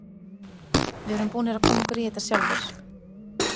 Við erum búnir að koma okkur í þetta sjálfir.